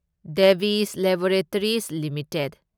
device laboratories limited